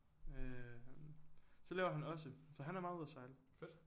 Øh så det laver han også så han er meget ude og sejle